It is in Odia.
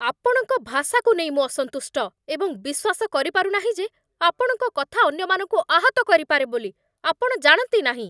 ଆପଣଙ୍କ ଭାଷାକୁ ନେଇ ମୁଁ ଅସନ୍ତୁଷ୍ଟ, ଏବଂ ବିଶ୍ୱାସ କରିପାରୁନାହିଁ ଯେ ଆପଣଙ୍କ କଥା ଅନ୍ୟମାନଙ୍କୁ ଆହତ କରିପାରେ ବୋଲି ଆପଣ ଜାଣନ୍ତି ନାହିଁ।